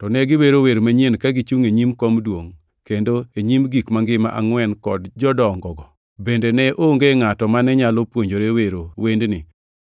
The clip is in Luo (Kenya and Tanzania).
To ne giwero wer manyien ka gichungʼ e nyim kom duongʼ, kendo e nyim gik mangima angʼwen kod jodongogo. Bende ne onge ngʼato mane nyalo puonjore wero wendni